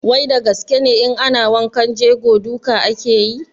Wai da gaske ne in ana wankan jego duka ake yi?